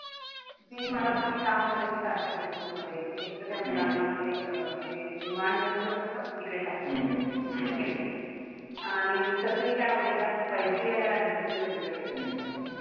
ती मला म्हंटली का होत माहितीये का अशा cases मध्ये? त त्या मुलांना ते remand homes? असतात ना तिकडे टाकतात. ठीकेय? आणि तसंही काय होत एकदा पैसे यायला लागले ना मुलं बिघडलेली असतात.